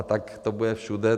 A tak to bude všude.